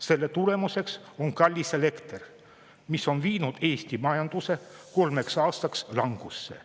Selle tulemus on kallis elekter, mis on viinud Eesti majanduse kolmeks aastaks langusse.